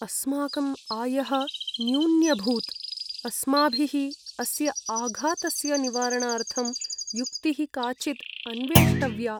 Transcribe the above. अस्माकं आयः न्यून्यभूत्! अस्माभिः अस्य आघातस्य निवारणार्थं युक्तिः काचिद् अन्वेष्टव्या।